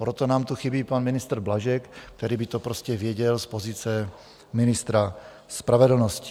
Proto nám tu chybí pan ministr Blažek, který by to prostě věděl z pozice ministra spravedlnosti.